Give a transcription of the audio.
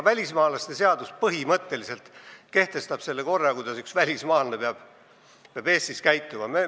Välismaalaste seadus kehtestab põhimõtteliselt selle korra, kuidas peab üks välismaalane Eestis käituma.